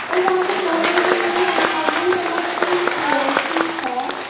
यहां पर बैठने के लिए एक गोल्डेन कलर की चेयर भी है।